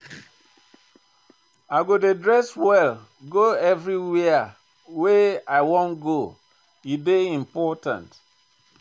I go dey dress well go everywhere wey I wan go, e dey important.